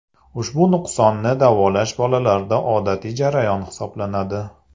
Ushbu nuqsonni davolash bolalarda odatiy jarayon hisoblanadi.